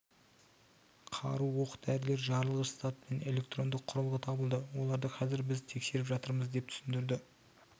қару оқ-дәрілер жарылғыш зат пен электронды құрылғы табылды оларды қазір біз тексеріп жатырмыз деп түсіндірді